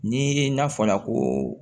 Ni n'a fɔra ko